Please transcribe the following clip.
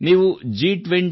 ನೀವು G20